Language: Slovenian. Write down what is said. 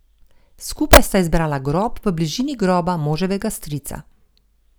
Skupaj sta izbrala grob v bližini groba moževega strica.